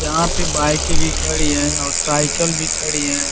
यहाँ पे बाइकें भी खड़ी हैं और साइकिल भी खड़ी हैं।